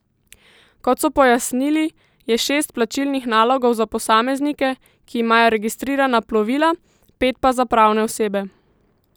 Kot so pojasnili, je šest plačilnih nalogov za posameznike, ki imajo registrirana plovila, pet pa za pravne osebe.